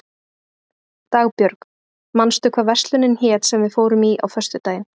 Dagbjörg, manstu hvað verslunin hét sem við fórum í á föstudaginn?